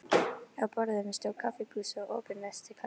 Á borðinu stóð kaffibrúsi og opinn nestiskassi.